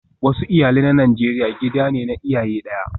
Wasu iyalai na Najeriya gida ne na iyaye daya